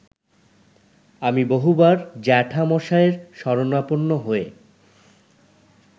আমি বহুবার জ্যাঠামশায়ের শরণাপন্ন হয়ে